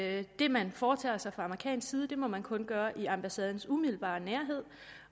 at det man foretager sig fra amerikansk side må man kun gøre i ambassadens umiddelbare nærhed